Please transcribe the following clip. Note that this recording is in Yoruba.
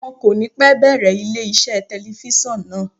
Wọ́n kò ní pẹ́ bẹ̀rẹ̀ ilé iṣẹ́ telifíṣàn náà.